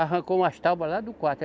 Arrancou umas tábuas lá do quarto.